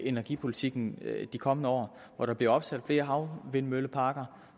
energipolitikken de kommende år år der bliver opsat flere havvindmølleparker